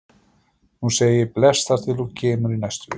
Nú segi ég bless þar til þú kemur í næstu viku.